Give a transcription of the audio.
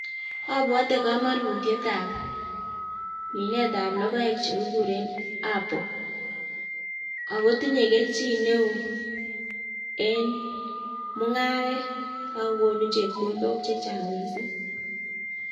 Abwote komonutiet ab logoek chekikuren apple, akotinye kelchin neo en mungaret ako konu chepkondok chechang missing